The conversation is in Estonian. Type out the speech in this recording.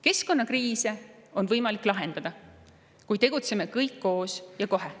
Keskkonnakriise on võimalik lahendada, kui tegutseme kõik koos ja kohe.